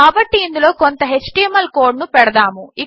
కాబట్టి ఇందులో కొంత ఎచ్టీఎంఎల్ కోడ్ ను పెడదాము